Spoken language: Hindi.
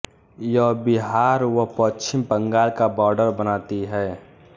यह बिहार व पश्चिम बंगाल का बाडर बनाती हैं